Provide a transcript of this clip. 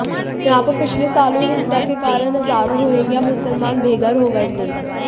यहां पर पिछले साल हुई हिंसा के कारण हजारों रोहिंग्या मुसलमान बेघर हो गए थे